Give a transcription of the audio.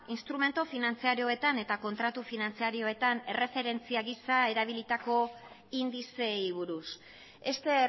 instrumentu finantzarioetan eta kontratu finantzarioetan erreferentzia gisa erabilitako indizeei buruz este